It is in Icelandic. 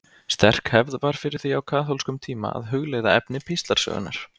Sterk hefð var fyrir því á kaþólskum tíma að hugleiða efni píslarsögunnar.